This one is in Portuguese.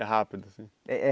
É rápido, assim. É é